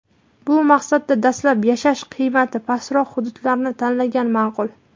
Bu maqsadda dastlab yashash qiymati pastroq hududlarni tanlagan ma’qul.